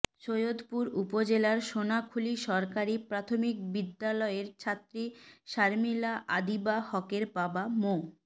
সৈয়দপুর উপজেলার সোনাখুলী সরকারি প্রাথমিক বিদ্যালয়ের ছাত্রী শারমিলা আদিবা হকের বাবা মো